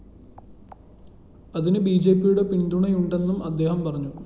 അതിന് ബിജെപിയുടെ പിന്തുണയുണ്ടെന്നും അദ്ദേഹം പറഞ്ഞു